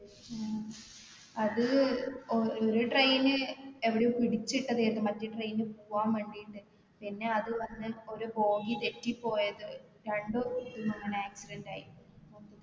ഉം അത് ഒ ഒരു train എവിടെയോ പിടിച്ചിട്ടതേയ്ഞ്ഞു മറ്റേ train പോകാൻ വേണ്ടിട്ട് പിന്നെ അത് വന്ന് ഒരു bogie തെറ്റിപോയത് രണ്ടും പിന്നിങ്ങനെ accident ആയി